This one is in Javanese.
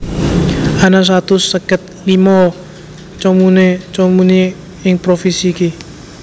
Ana satus seket limo comune comuni ing provisi iki